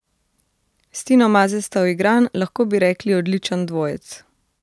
S Tino Maze sta uigran, lahko bi rekli odličen dvojec.